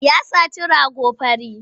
Ya saci rago fari.